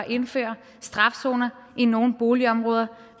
at indføre strafzoner i nogle boligområder